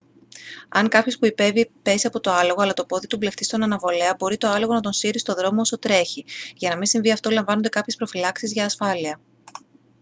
αν κάποιος που ιππέυει πέσει από το άλογο αλλά το πόδι του μπλεχτεί στον αναβολέα μπορεί το άλογο να τον σύρει στο δρόμο όσο τρέχει για να μη συμβεί αυτό λαμβάνονται κάποιες προφυλάξεις για ασφάλεια